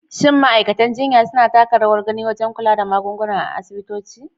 Shin ma’aikatan jinya suna taka rawar gani wajen kula da magunguna a asibitoci?